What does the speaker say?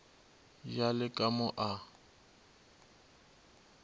ya le ka mo a